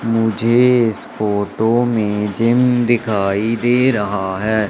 मुझे इस फोटो में जिम दिखाई दे रहा है।